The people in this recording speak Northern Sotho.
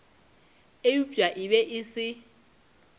eupša e be e se